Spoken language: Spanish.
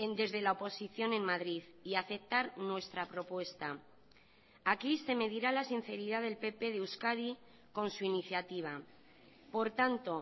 desde la oposición en madrid y aceptar nuestra propuesta aquí se medirá la sinceridad del pp de euskadi con su iniciativa por tanto